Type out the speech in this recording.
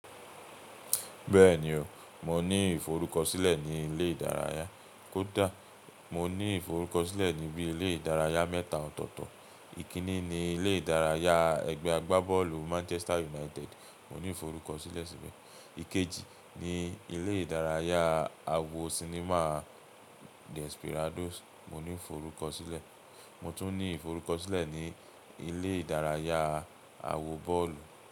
Bẹ́ẹ̀ni o, mo ní ìforúkọsílẹ̀ ní ilé ìdárayá. Kódà mo ní ìforúkọsílẹ̀ níbí ilé ìdárayá mẹ́ta ọ̀tọ̀ọ̀tọ̀. Ìkínni ni ilé ìdárayá ẹgbẹ́ agbábọ́ọ̀lù Manchester United, mo ní ìforúkọsílẹ̀ síbẹ̀. Ikeji ni ilé ìdárayá àwo sinimá Desperadoes mo ní ìforúkọsílẹ̀. Mo tún ní ìforúkọsílẹ̀ ní ilé ìdárayá àwo bọ́ọ̀lù.